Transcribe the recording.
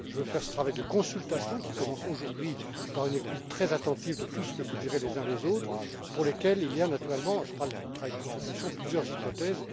Je veux faire ce travail de consultation, qui commence aujourd'hui par une écoute très attentive de tout ce que vous direz les uns et les autres et pour lequel il y a naturellement je parle du travail de consultation plusieurs hypothèses.